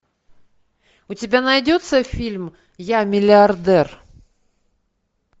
у тебя найдется фильм я миллиардер